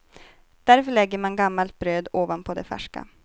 Därför lägger man gammalt bröd ovanpå det färska.